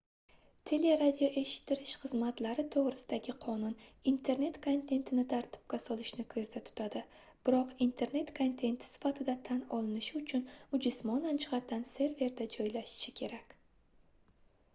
teleradioeshittirish xizmatlari toʻgʻrisidagi qonun internet kontentini tartibga solishni koʻzda tutadi biroq internet kontenti sifatida tan olinishi uchun u jismonan jihatdan serverda joylashishi kerak